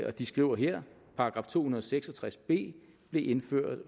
og de skriver her § to hundrede og seks og tres b blev indføjet